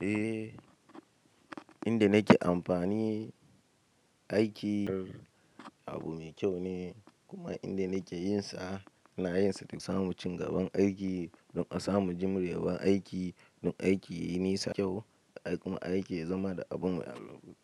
Eh, inda nake amfani aiki abu mai kyau ne kuma inda nake yinsa ina yinsa don samu cigaban aiki don a samu jimrewar aiki don aiki yayi nisa kyau kuma aiki ya zama da abun al'amur.